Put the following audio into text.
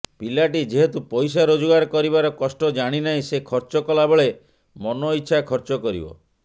ପିଲାଟି ଯେହେତୁ ପଇସା ରୋଜଗାର କରିବାର କଷ୍ଟ ଜାଣିନାହିଁ ସେ ଖର୍ଚ୍ଚ କଲାବେଳେ ମନଇଚ୍ଚା ଖର୍ଚ୍ଚ କରିବ